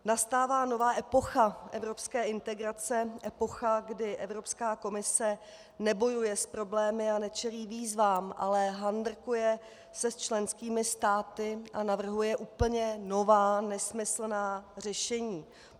Nastává nová epocha evropské integrace, epocha, kdy Evropská komise nebojuje s problémy a nečelí výzvám, ale handrkuje se s členskými státy a navrhuje úplně nová nesmyslná řešení.